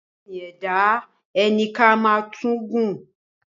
Ẹṣin e e da ẹní ká má tún gún.